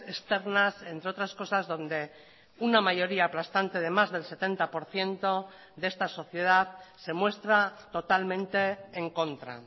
externas entre otras cosas donde una mayoría aplastante de más del setenta por ciento de esta sociedad se muestra totalmente en contra